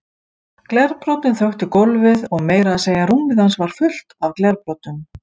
Glerbrotin þöktu gólfið og meira að segja rúmið hans var fullt af glerbrotum.